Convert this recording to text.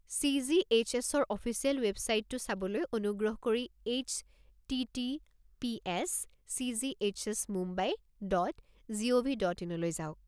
চি.জি.এইচ.এছ.-ৰ official ৱেবচাইটটো চাবলৈ অনুগ্ৰহ কৰি HTTPS. CGHS Mumbai dot gov. Dot ইনলৈ যাওক।